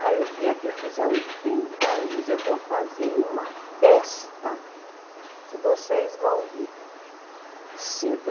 Ah, o dia que eu fizer oitenta anos eu vou fazer uma festa, que vocês vão ver